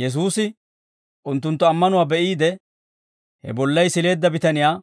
Yesuusi unttunttu ammanuwaa be'iide, he bollay sileedda bitaniyaa,